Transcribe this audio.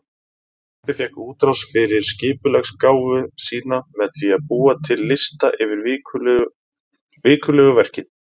Pabbi fékk útrás fyrir skipulagsgáfu sína með því að búa til lista yfir vikulegu verkin.